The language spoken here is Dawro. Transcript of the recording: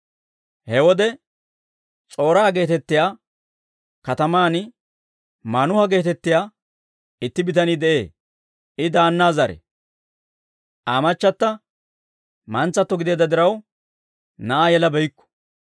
He wode S'or"a geetettiyaa kataman Maanuha geetettiyaa itti bitanii de'ee. I Daana zare; Aa machchata mantsato gideedda diraw, na'aa yelabeykku.